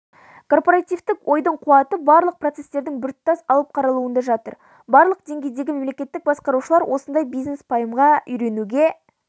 корпоративтік ойдың қуаты барлық процестердің біртұтас алып қаралуында жатыр барлық деңгейдегі мемлекеттік басқарушылар осындай бизнес-пайымға үйренуге